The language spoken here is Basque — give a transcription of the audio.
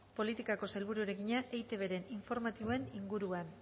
politikako sailburuari egina eitbren informatiboen inguruan